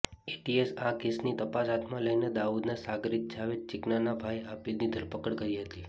એટીએસે આ કેસની તપાસ હાથમાં લઈને દાઉદના સાગરિત જાવેદ ચિકનાના ભાઈ આબીદની ધરપકડ કરી હતી